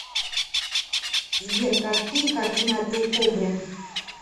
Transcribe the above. сбер какие координаты у кобрин